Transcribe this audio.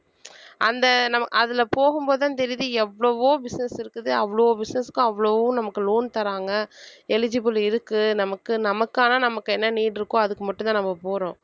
அந்த நம்ம அதுல போகும் போதுதான் தெரியுது எவ்வளவோ business இருக்குது அவ்வளவோ business க்கும் அவ்வளவோ நமக்கு loan தர்றாங்க eligible இருக்கு நமக்கு நமக்கான நமக்கு என்ன need இருக்கோ அதுக்கு மட்டும்தான் நம்ம போறோம்.